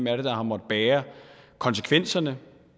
er der har måttet bære konsekvenserne